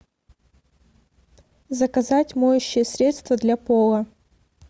заказать моющее средство для пола